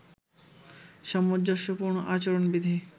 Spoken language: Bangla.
সামঞ্জস্যপূর্ণ আচরণবিধি